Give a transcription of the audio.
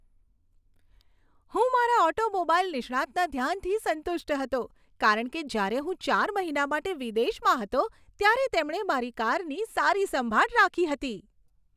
હું મારા ઓટોમોબાઈલ નિષ્ણાતના ધ્યાનથી સંતુષ્ટ હતો કારણ કે જ્યારે હું ચાર મહિના માટે વિદેશમાં હતો ત્યારે તેમણે મારી કારની સારી સંભાળ રાખી હતી.